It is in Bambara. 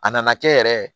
A nana kɛ yɛrɛ